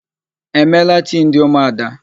E meela tii ndị ụmụada?